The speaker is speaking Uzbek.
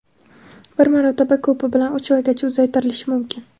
bir marotaba ko‘pi bilan uch oygacha uzaytirilishi mumkin.